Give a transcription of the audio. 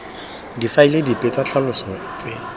difaele dipe tsa ditlhaloso tse